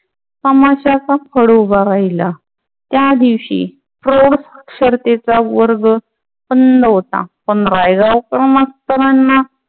तमाशाचा फळ उभा राहिला. त्या दिवशी प्रौढ स्पर्धेचा वर्ग बंद होता. पण रायगावकर मास्तरांना